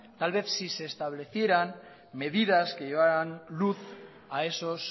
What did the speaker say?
tal vez si establecieran medidas que llevaran luz a esos